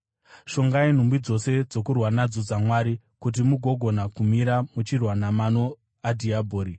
Shongai nhumbi dzose dzokurwa nadzo dzaMwari kuti mugogona kumira muchirwa namano adhiabhori.